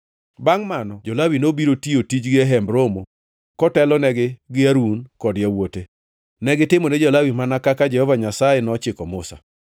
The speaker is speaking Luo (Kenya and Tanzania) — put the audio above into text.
Bangʼ mano, jo-Lawi nobiro tiyo tijgi e Hemb Romo kotelnegi gi Harun kod yawuote. Negitimone jo-Lawi mana kaka Jehova Nyasaye nochiko Musa.